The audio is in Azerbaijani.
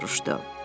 deyə soruşdu.